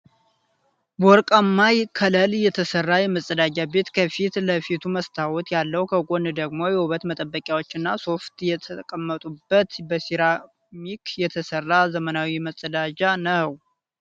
በወርቃማ ከለል የተሰራ የመጸዳጃ ቤት ከፊት ለፊቱ መስታወት ያለው ከጎኑ ደግሞ የውበት መጠበቂያዎችና ሶፍት የተቀመጡበት በሴራሚክ የተሰራ ዘመናዊ መጸዳጃ ነዉ።